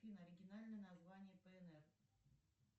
афина оригинальное название пнр